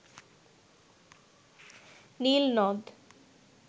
নীল নদ